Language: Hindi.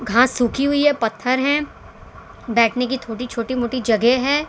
घास सूखी हुई है पत्थर है बैठने की थोड़ी छोटी मोटी जगह है।